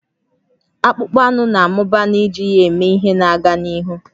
Akpụkpọ anụ na-amụba n'iji ya eme ihe na-aga n'ihu